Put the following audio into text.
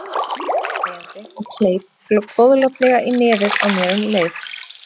Hún sagði þetta hlæjandi og kleip góðlátlega í nefið á mér um leið.